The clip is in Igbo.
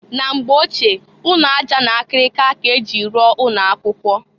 Na mgbe ochie, ụnọ aja na akịrịka k'e ji rụọ ụnọ akwụkwọ.